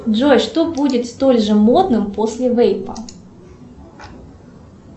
джой что будет столь же модным после вейпа